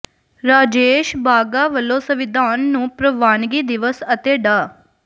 ਰਾਜੇਸ਼ ਬਾਘਾ ਵਲੋਂ ਸੰਵਿਧਾਨ ਨੂੰ ਪ੍ਰਵਾਨਗੀ ਦਿਵਸ ਅਤੇ ਡਾ